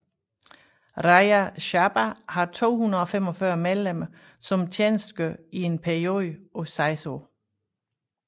Rajya Sabha har 245 medlemmer som tjenestegør i en periode på 6 år